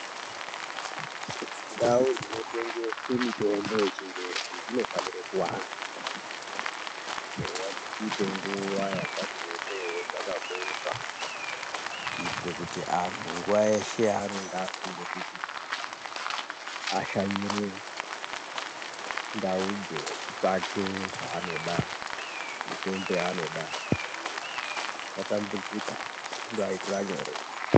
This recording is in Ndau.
Ndau dzinotengese mitombo yechingezi dzinofanire kuwanda eya dzichiite nguwa yakati rebeiwo dzakabooka kuitire kuti antu nguwa yeshe yaanonge afunga kuti ashanyire ndau idzo echitsvake zvaanoda mitombo yaanoda asatambudzika zvindoaitira nyore.